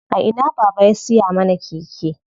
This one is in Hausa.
A ina baba ya siya mana keke?